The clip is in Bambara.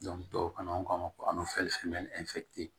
tubabukan na an b'a fɔ